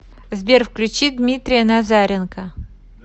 сбер включи дмитрия назаренко